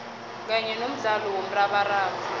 kanye nomdlalo womrabaraba